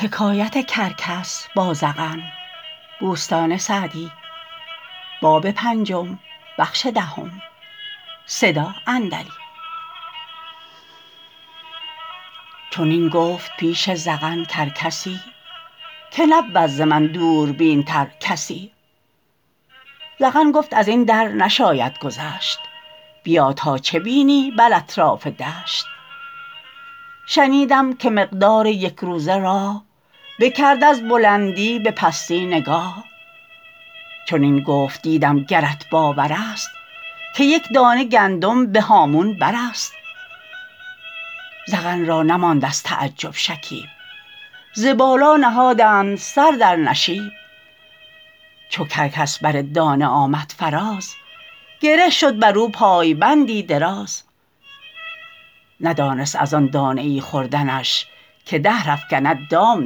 چنین گفت پیش زغن کرکسی که نبود ز من دوربین تر کسی زغن گفت از این در نشاید گذشت بیا تا چه بینی بر اطراف دشت شنیدم که مقدار یک روزه راه بکرد از بلندی به پستی نگاه چنین گفت دیدم گرت باور است که یک دانه گندم به هامون بر است زغن را نماند از تعجب شکیب ز بالا نهادند سر در نشیب چو کرکس بر دانه آمد فراز گره شد بر او پایبندی دراز ندانست از آن دانه ای خوردنش که دهر افکند دام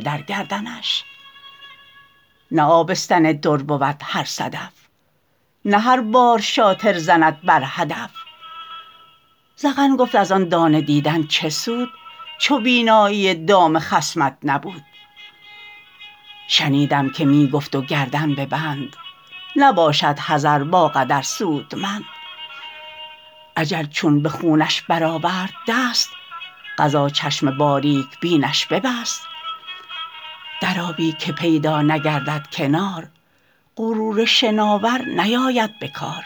در گردنش نه آبستن در بود هر صدف نه هر بار رامی زند بر هدف زغن گفت از آن دانه دیدن چه سود چو بینایی دام خصمت نبود شنیدم که می گفت و گردن به بند نباشد حذر با قدر سودمند اجل چون به خونش بر آورد دست قضا چشم باریک بینش ببست در آبی که پیدا نگردد کنار غرور شناور نیاید به کار